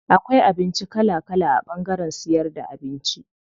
Akwai abinci kala kala a ɓangaren siyar da abinci.